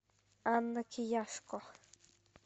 анна кияшко